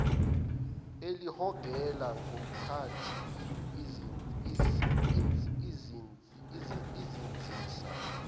elihogela ngomkhathi izinzisa